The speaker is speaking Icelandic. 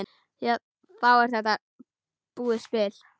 Þá er þetta búið spil.